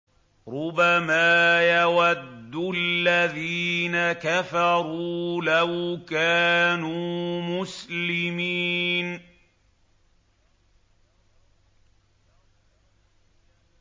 رُّبَمَا يَوَدُّ الَّذِينَ كَفَرُوا لَوْ كَانُوا مُسْلِمِينَ